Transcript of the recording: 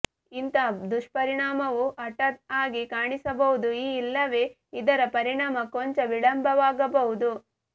ಇಂತಹ ದುಷ್ಪರಿಣಾಮವು ಹಠಾತ್ ಆಗಿ ಕಾಣಿಸಬಹುದುಇ ಇಲ್ಲವೇ ಇದರ ಪರಿಣಾಮ ಕೊಂಚ ವಿಳಂಬವಾಗಬಹುದು